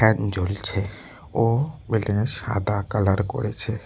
Fan জ্বলছে ও বিল্ডিংয়ে সাদা কালার করেছে।